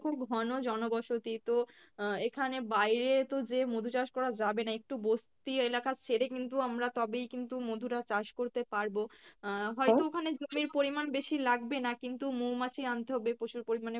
দেখো ঘন জনবসতি তো আহ এখানে বাইরে তো যে মধু চাষ করা যাবেনা একটু বসতি এলাকা ছেরে কিন্তু আমরা তবেই কিন্তু মধু টা চাষ করতে পারবো আহ হয়তো ওখানে জমির পরিমাণ বেশি লাগবে না কিন্তু মৌমাছি আনতে হবে প্রচুর পরিমাণে